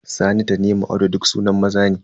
Sani, Tanimu, Audu duk sunan maza ne.